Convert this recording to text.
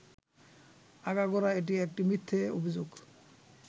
আগাগোড়া এটি একটি মিথ্যে অভিযোগ